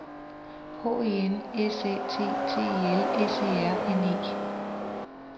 H E N S Æ T T E L S E R N E